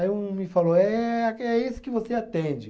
Aí um me falou, é aque, é esse que você atende.